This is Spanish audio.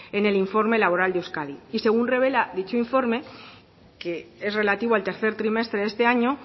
en el informe labora de euskadi y según revela dicho informe que es relativo al tercer trimestre de este año